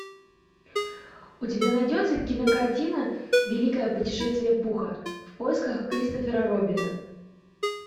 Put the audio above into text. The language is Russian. у тебя найдется кинокартина великое путешествие пуха в поисках кристофера робина